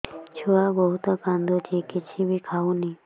ଛୁଆ ବହୁତ୍ କାନ୍ଦୁଚି କିଛିବି ଖାଉନି